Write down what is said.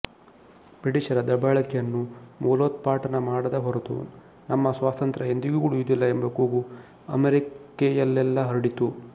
ಬ್ರಿಟಿಷರ ದಬ್ಬಾಳಿಕೆಯನ್ನು ಮೂಲೋತ್ಪಾಟನ ಮಾಡದ ಹೊರತು ತಮ್ಮ ಸ್ವಾತಂತ್ರ್ಯ ಎಂದಿಗೂ ಉಳಿಯುವುದಿಲ್ಲ ಎಂಬ ಕೂಗು ಅಮೆರಿಕೆಯಲ್ಲೆಲ್ಲ ಹರಡಿತು